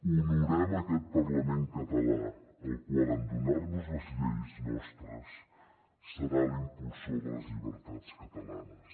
honorem aquest parlament català el qual en donar nos les lleis nostres serà l’impulsor de les llibertats catalanes